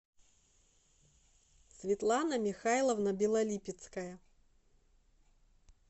светлана михайловна белолипецкая